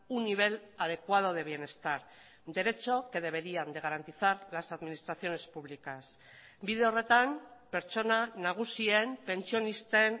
un nivel adecuado de bienestar derecho que deberían de garantizar las administraciones públicas bide horretan pertsona nagusien pentsionisten